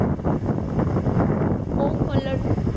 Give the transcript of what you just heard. କୋଉ color ଯେ